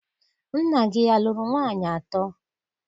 Nna gị alụrụ nwaanyị atọ?